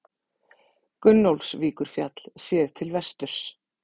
Gunnólfsvíkurfjall, séð til vesturs.